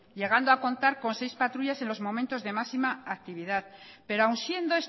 llegando a contar con seis patrullas en los momentos de máxima actividad pero aun siendo